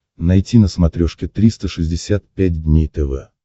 найти на смотрешке триста шестьдесят пять дней тв